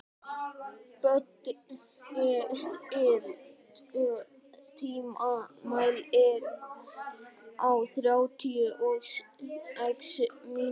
Böddi, stilltu tímamælinn á þrjátíu og sex mínútur.